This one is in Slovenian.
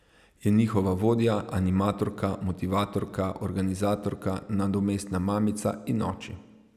Je njihova vodja, animatorka, motivatorka, organizatorka, nadomestna mamica in oči.